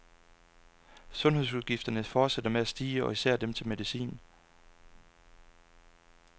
Sundhedsudgifterne fortsætter med at stige og især dem til medicin.